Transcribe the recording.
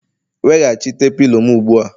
Weghachite pilo m ugbu a!